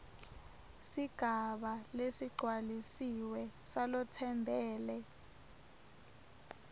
sigaba lesigcwalisiwe salotsembele